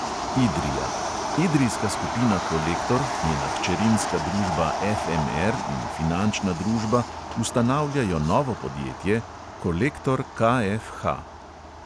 Idrija – idrijska skupina kolektor, njena hčerinska družba FMR in finančna družba ustanavljajo novo podjetje, kolektor KFH.